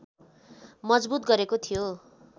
मजबूत गरेको थियो